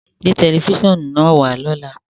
Gbé tẹlifísiọ́nù naá wà lọ́lá!